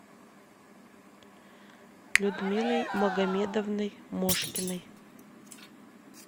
людмилой магомедовной мошкиной